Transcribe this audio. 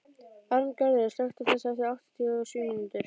Arngarður, slökktu á þessu eftir áttatíu og sjö mínútur.